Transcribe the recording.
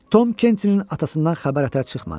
Tom Kentinin atasından xəbər ətər çıxmadı.